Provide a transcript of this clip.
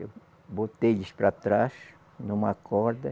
Eu botei eles para trás, numa corda.